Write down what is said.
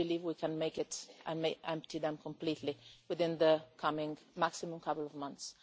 I believe we can make it and empty them completely within the coming maximum couple of months.